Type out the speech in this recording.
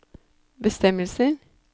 bestemmelser